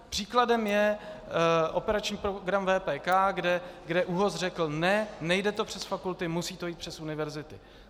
Příkladem je operační program VPK, kde ÚOHS řekl: ne, nejde to přes fakulty, musí to jít přes univerzitu.